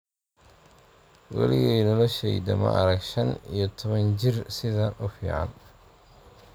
"Weligay noloshayda ma arag shan iyo toban jir sidan ufican"